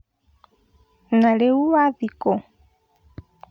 Na rĩu wathii kũ?